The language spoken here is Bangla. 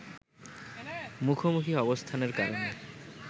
মুখোমুখি অবস্থানের কারণে